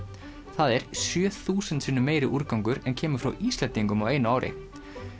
það er sjö þúsund sinnum meiri úrgangur en kemur frá Íslendingum á einu ári